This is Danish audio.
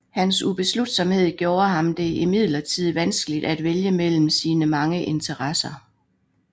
Hans ubeslutsomhed gjorde ham det imidlertid vanskeligt at vælge mellem sine mange interesser